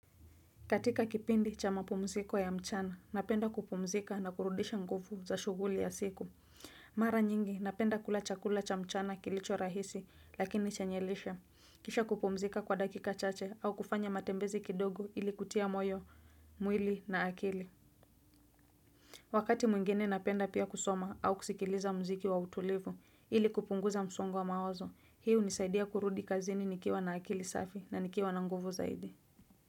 Katika kipindi cha mapumziko ya mchana, napenda kupumzika na kurudisha nguvu za shuguli ya siku. Mara nyingi, napenda kula chakula cha mchana kilicho rahisi lakini chanyelisha. Kisha kupumzika kwa dakika chache au kufanya matembezi kidogo ili kutia moyo, mwili na akili. Wakati mwingine napenda pia kusoma au kusikiliza mziki wa utulivu ili kupunguza msongo wa mawazo. Hii hunisaidia kurudi kazini nikiwa na akili safi na nikiwa na nguvu zaidi.